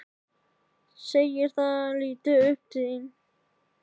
Segir það til að hann líti upp.